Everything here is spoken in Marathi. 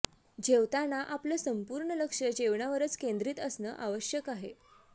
जेवताना आपलं संपूर्ण लक्ष जेवणावरच केंद्रित असणं आवश्यक आहे